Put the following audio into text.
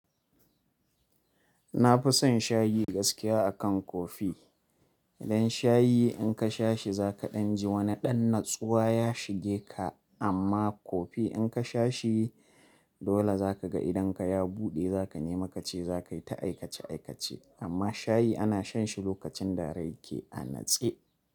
Na fu san shayi gaskiya akan kofi. Dan shayi in ka sha shi za ka ɗan ji wani ɗan natsuwa ya shige ka amma kofi in ka sha shi dole za ka ga idan ka ya buɗe za ka nema ka ce za kai ta aikace-aikace amma shayi ana shan shi lokacin da rai ke a natshe.